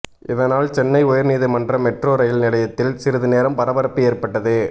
இதனால் சென்னை உயர்நீதிமன்ற metro rail நிலையத்தில் சிறிது நேரம் பரபரப்பு ஏற்பட்டது